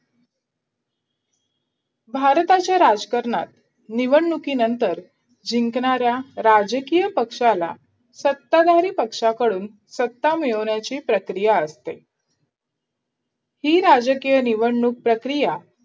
भारताच्या राजकरणात निवडणुकीनंतर जिंकणाऱ्या राजकीय पक्षाला सत्ताधारी पक्षाकडून सत्ता मिळवण्याची प्रक्रिया ही राजकीय निवडणूक प्रक्रिया